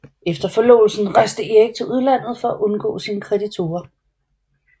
Efter forlovelsen rejste Erik til udlandet for at undgå sine kreditorer